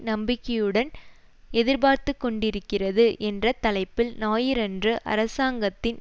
நம்பிக்கையுடன் எதிர்பார்த்துக்கொண்டிருக்கிறது என்ற தலைப்பில் ஞாயிறன்று அரசாங்கத்தின்